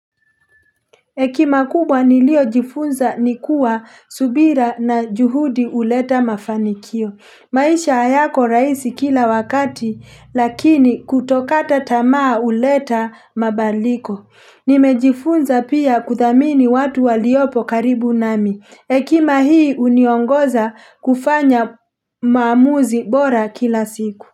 Ekima kubwa nilio jifunza nikua subira na juhudi huleta mafanikio. Maisha hayako raisi kila wakati lakini kutokata tamaa huleta mabaliko. Nimejifunza pia kuthamini watu waliopo karibu nami. Ekima hii uniongoza kufanya maamuzi bora kila siku.